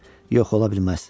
Yox, ola bilməz.